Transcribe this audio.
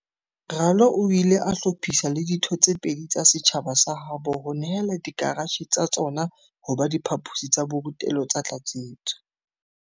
Ralo o ile a hlophisa le ditho tse pedi tsa setjhaba sa habo ho nehela dikaratjhe tsa tsona ho ba diphaposi tsa borutelo tsa tlatsetso.